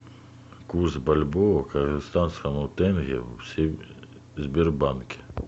курс бальбоа к казахстанскому тенге в сбербанке